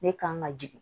Ne kan ka jigin